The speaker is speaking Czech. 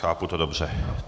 Chápu to dobře.